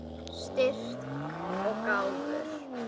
Styrk og gáfur.